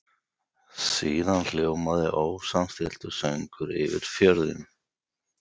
Síðan hljómaði ósamstilltur söngur yfir fjörðinn.